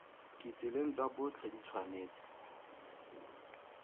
ditseleng tsa botlhe di tshwanetse